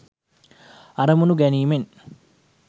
අරමුණු ගැනීමෙන්